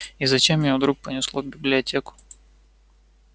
и зачем её вдруг понесло в библиотеку